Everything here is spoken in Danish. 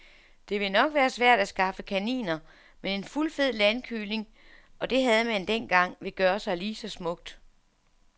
Det vil nok være svært at skaffe kaniner, men en fuldfed landkylling, og det havde man dengang, vil gøre sig lige så smukt.